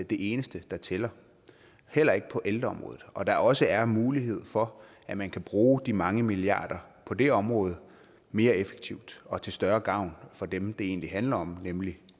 det eneste der tæller heller ikke på ældreområdet og at der også er mulighed for at man kan bruge de mange milliarder på det område mere effektivt og til større gavn for dem det egentlig handler om nemlig